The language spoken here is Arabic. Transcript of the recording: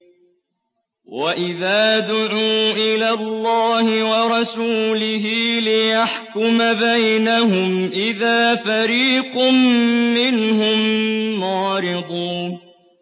وَإِذَا دُعُوا إِلَى اللَّهِ وَرَسُولِهِ لِيَحْكُمَ بَيْنَهُمْ إِذَا فَرِيقٌ مِّنْهُم مُّعْرِضُونَ